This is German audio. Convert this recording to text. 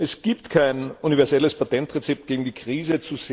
Es gibt kein universelles Patentrezept gegen die Krise.